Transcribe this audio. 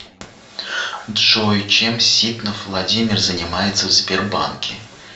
джой чем ситнов владимир занимается в сбербанке